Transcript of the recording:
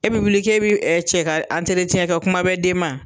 E bɛ wuli kɛ e cɛ ka kɛ kuma bɛ den ma.